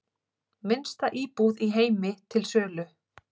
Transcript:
Minnsta íbúð í heimi til sölu